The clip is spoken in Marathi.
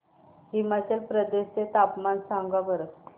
हिमाचल प्रदेश चे तापमान सांगा बरं